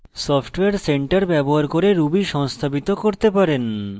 software centre ব্যবহার করে ruby সংস্থাপিত করতে পারেন